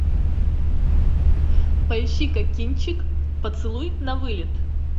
поищи ка кинчик поцелуй на вылет